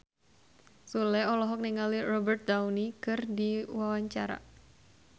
Sule olohok ningali Robert Downey keur diwawancara